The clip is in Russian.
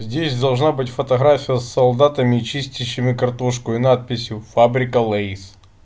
здесь должна быть фотография с солдатами чистящими картошку и надписью фабрика лэйс